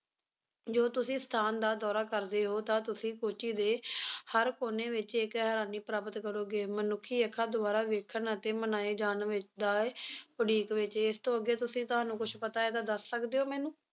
ਜੋ ਤੁਸੀ ਸਥਾਨ ਦਾ ਦੌਰਾ ਕਰਦੇ ਹੋ ਤਾਂ ਤੁਸੀ ਕੋਚੀ ਦੇ ਹਰ ਕੋਨੇ ਵਿੱਚ ਇੱਕ ਹੈਰਾਨੀ ਪ੍ਰਾਪਤ ਕਰੋਗੇ ਮਨੁੱਖੀ ਅੱਖਾਂ ਦੁਆਰਾ ਦੇਖਣ ਅਤੇ ਮਨਾਏ ਜਾਣ ਵਿਚ ਦਾ ਏ ਉਡੀਕ ਵਿੱਚ ਇਸਤੋਂ ਅੱਗੇ ਤੁਸੀ ਤੁਹਾਨੂੰ ਕੁਛ ਪਤਾ ਹੈ ਤਾਂ ਦੱਸ ਸਕਦੇ ਹੋ ਮੈਨੂੰ